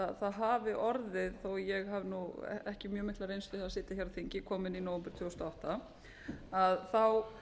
að það hafi orðið þó ég hafi ekki mikla reynslu af að sitja á þingi kom inn í nóvember tvö þúsund og átta þá